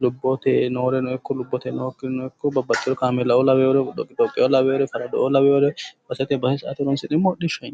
lubbote nooreno ikko nookkireno babbaxeyo kameelao lawinore farado'o lawinore hodhishshaho yinneemmo